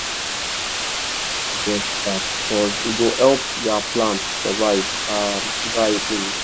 use manure when harmattan just startcuz e go help ya plants survive um dry wind.